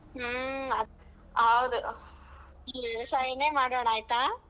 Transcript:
ಹ್ಮ್ ಹ ಹೌದು ವ್ಯವಸಾಯನೇ ಮಾಡೋಣ ಆಯ್ತಾ?